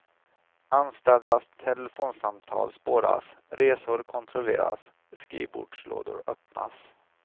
Anställdas telefonsamtal spåras, resor kontrolleras, skrivbordslådor öppnas.